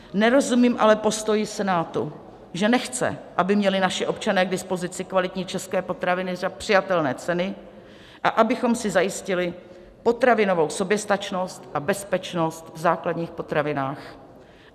Nerozumím ale postoji Senátu, že nechce, aby měli naši občané k dispozici kvalitní české potraviny za přijatelné ceny a abychom si zajistili potravinovou soběstačnost a bezpečnost v základních potravinách.